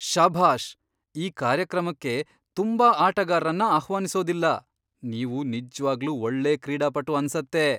ಶಭಾಷ್! ಈ ಕಾರ್ಯಕ್ರಮಕ್ಕೆ ತುಂಬಾ ಆಟಗಾರ್ರನ್ನ ಆಹ್ವಾನಿಸೋದಿಲ್ಲ. ನೀವು ನಿಜ್ವಾಗ್ಲೂ ಒಳ್ಳೆ ಕ್ರೀಡಾಪಟು ಅನ್ಸತ್ತೆ!